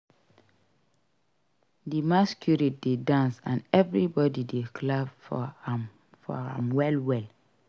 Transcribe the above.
Di masquerade dey dance and everybody dey clap for am well well.